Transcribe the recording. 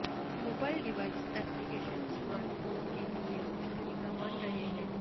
mobile device application smart phones کے لئے مشترکہ بن رہے ہیں